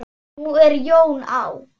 Nú er Jón á